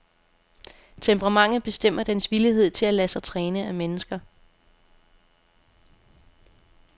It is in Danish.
Temperamentet bestemmer dens villighed til at lade sig træne af mennesker.